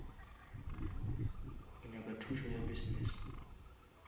o nyaka thušo ya business